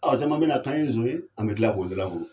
Ɔ caman bena k'an ye son ye an be kila k'o dalakuru